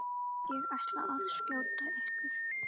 Ég ætla að skjóta ykkur!